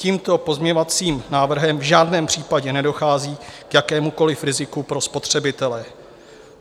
Tímto pozměňovacím návrhem v žádném případě nedochází k jakémukoliv riziku pro spotřebitele.